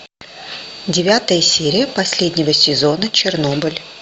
девятая серия последнего сезона чернобыль